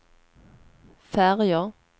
färger